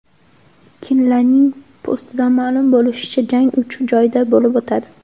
Kinlanning postidan ma’lum bo‘lishicha, jang uch joyda bo‘lib o‘tadi.